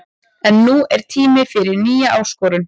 En nú er tími fyrir nýja áskorun.